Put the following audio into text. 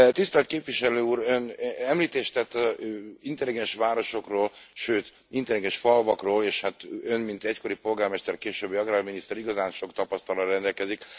Tisztelt Képviselő Úr, ön említést tett intelligens városokról, sőt intelligens falvakról, és hát ön, mint egykori polgármester, későbbi agrárminiszter, igazán sok tapasztalattal rendelkezik.